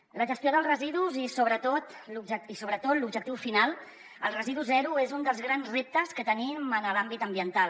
la gestió dels residus i sobretot l’objectiu final el residu zero és un dels grans reptes que tenim en l’àmbit ambiental